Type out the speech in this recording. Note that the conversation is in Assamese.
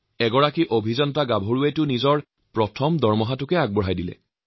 এগৰাকী যুৱতী অভিযন্তাই তেওঁৰ প্ৰথম মাহৰ দৰমহা ছাইদুলৰ সৎ কামৰ বাবে প্ৰদান কৰে